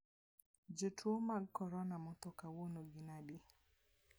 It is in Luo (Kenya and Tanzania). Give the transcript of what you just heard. Jotuo mag corona motho kawuono gin adi?